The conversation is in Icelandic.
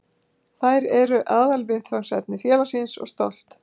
Þær eru aðalviðfangsefni félagsins og stolt.